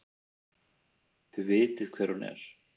Þið vitið hver hún er!